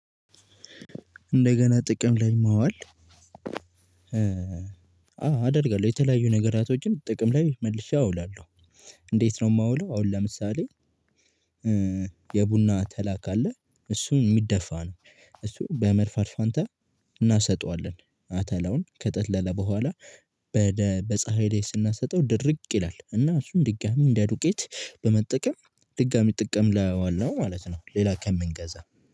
እንደገና ጥቅም ላይ ማዋል አዎ አደርጋለሁ የተለያዩ ነገራቶችን ጥቅም ላይ መልሼ አውላለሁ። እንዴት ነው የማውለው? አሁን ለምሳሌ የቡና አተላ ካለ እሱን የሚደፋ ነው። እሱን በመድፋት ፋንታ እናሰጠዋለን አተላውን ከጠለለ በኋላ በደ በፀሀይ ላይ ስናሰጠው ድርቅ ይላል እና እሱም ድጋሚ እንደ ዱቄት በመጠቀም ድጋሚ ጥቅም ላይ አዋልነው ማለት ነው። ሌላ ከምንገዛ